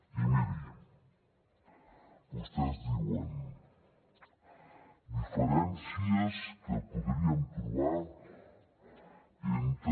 i miri vostès diuen diferències que podríem trobar entre